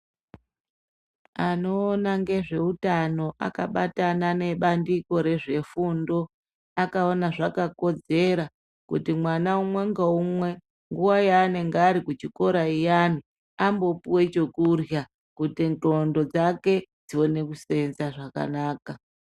Anoona ngezveutano akabatana nebandiko rezvefundo akaona zvakakodzera kuti mwana umwe ngaumwe nguwa yaanenge arikuchikora iyani ambopuwe chekurhya kuti ndxondo dzake dzione kuseenza zvakanaka.